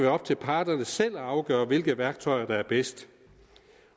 op til parterne selv at afgøre hvilke værktøjer der er bedst